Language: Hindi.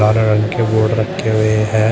हरे रंग के बोर्ड रखे हुए हैं।